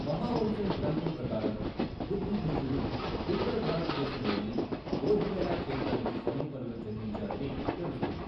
మహావంశం గ్రంథం ప్రకారం బుద్ధఘోషుడు ఉత్తర భారతదేశంలోని బోధిగయ క్షేత్రానికి సమీపంలో జన్మించాడని తెలుస్తుంది.